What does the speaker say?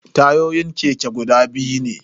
Tayoyin keke guda biyu ne.